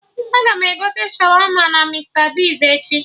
Agam egote Shawama na Mista Bigz echi